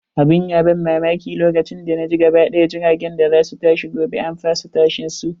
Abun ya ban mamaki, lokacin da naji gaba ɗaya jiragen da za su tashi gobe an fasa tashin su.